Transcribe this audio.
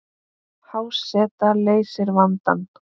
Há seta leysir vandann